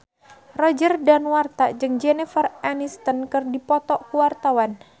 Roger Danuarta jeung Jennifer Aniston keur dipoto ku wartawan